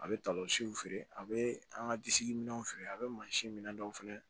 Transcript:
A bɛ feere a bɛ an ka disi minɛnw feere a bɛ mansin minɛn dɔw feere